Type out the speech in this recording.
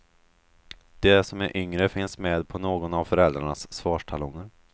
De som är yngre finns med på någon av föräldrarnas svarstalonger.